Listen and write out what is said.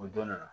O dɔ nana